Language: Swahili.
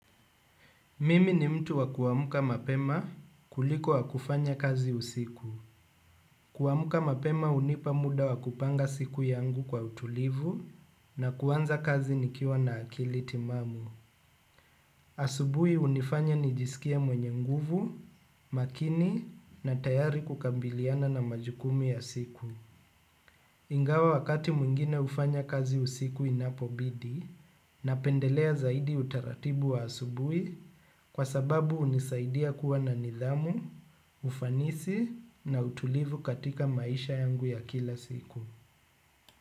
Mimi ni mtu wa kuamka mapema kuliko wa kufanya kazi usiku. Kuamka mapema uunipa mda wa kupanga siku yangu kwa utulivu na kuanza kazi nikiwa na akili timamu. Asubuhi hunifanya nijisikie mwenye nguvu, makini na tayari kukabiliana na majukumu ya siku. Ingawa wakati mwingine hufanya kazi usiku inapobidi napendelea zaidi utaratibu wa asubuhi kwa sababu hunisaidia kuwa na nidhamu, ufanisi na utulivu katika maisha yangu ya kila siku.